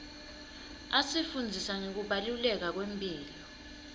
asifundzisa ngekubaluleka kwemphilo